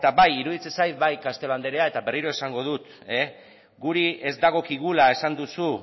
bai iruditzen zait bai castelo anderea eta berriro esango dut guri ez dagokigula esan duzu